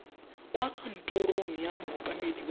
kwa kantorong ya mookamedi wa